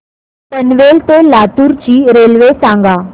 पनवेल ते लातूर ची रेल्वे सांगा